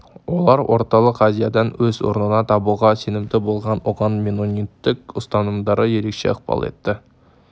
олар орталық азиядан өз орнын табуға сенімді болып оған меннониттік ұстанымдары ерекше ықпал етті